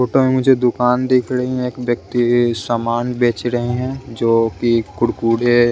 photo में मुझे दुकान दिख रही है एक व्यक्ति सामान बेच रहे हैं जो कि कुड़कुड़े--